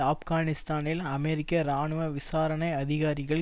ஆப்கானிஸ்தானில் அமெரிக்க இராணுவ விசாரணை அதிகாரிகள்